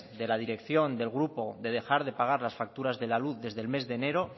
de la dirección del grupo de dejar de pagar las facturas de la luz desde el mes enero